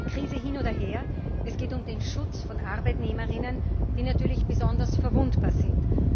Krise hin oder her es geht um den Schutz von Arbeitnehmerinnen, die natürlich besonders verwundbar sind.